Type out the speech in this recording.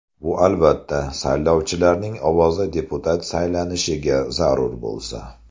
Bu, albatta, saylovchilarning ovozi deputat saylanishiga zarur bo‘lsa.